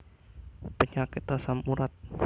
Penyakit asam urat